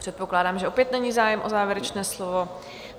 Předpokládám, že opět není zájem o závěrečné slovo.